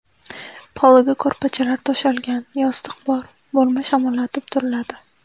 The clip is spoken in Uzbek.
Poliga ko‘rpachalar to‘shalgan, yostiq bor, bo‘lma shamollatilib turiladi.